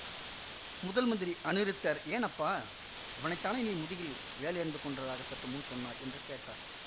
முதல் மந்திரி அநிருத்தர் ஏன் அப்பா இவனை தானே நீ முதுகில் வேலெறிந்து கொன்றதாகச் சற்று முன் சொன்னாய் என்று கேட்டார்